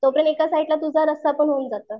तो पर्यंत एका साईट ला तुझा रस्सा पण होऊन जातो.